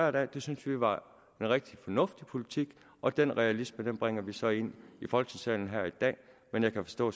af det syntes vi var en rigtig fornuftig politik og den realisme bringer vi så ind i folketingssalen her i dag men jeg kan forstå